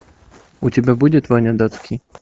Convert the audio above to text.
у тебя будет ваня датский